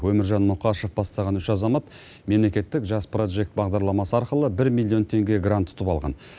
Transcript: өміржан мұқашев бастаған үш азамат мемлекеттік жас прожект бағдарламасы арқылы бір миллион теңге грант ұтып алған